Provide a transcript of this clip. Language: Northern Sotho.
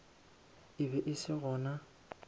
e be e se gona